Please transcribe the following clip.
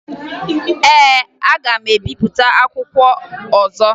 Ee, aga m ebipụta akwụkwọ ọzọ